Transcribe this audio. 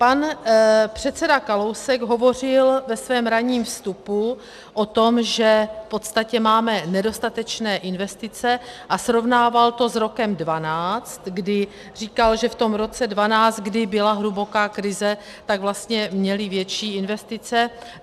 Pan předseda Kalousek hovořil ve svém ranním vstupu o tom, že v podstatě máme nedostatečné investice, a srovnával to s rokem 2012, kdy říkal, že v tom roce 2012, kdy byla hluboká krize, tak vlastně měli větší investice.